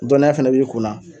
Dɔnniya fɛnɛ b'i kun na